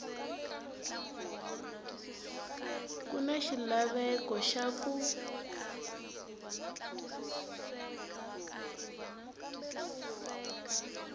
ku na xilaveko xa ku